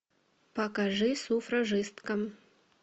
покажи суфражистка